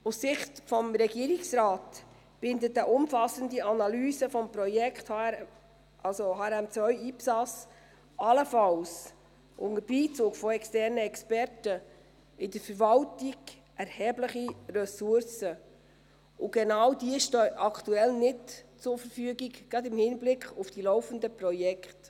Aus Sicht des Regierungsrates bindet eine umfassende Analyse des Projekts HRM2/IPSAS, allenfalls unter Beizug von externen Experten, in der Verwaltung erhebliche Ressourcen, und genau diese stehen aktuell nicht zur Verfügung, gerade im Hinblick auf die laufenden Projekte.